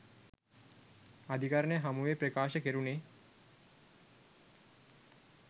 අධිකරණය හමුවේ ප්‍රකාශ කෙරුණේ